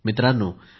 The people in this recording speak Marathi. मित्रांनो